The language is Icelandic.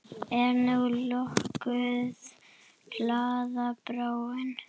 Er nú lokuð glaða bráin?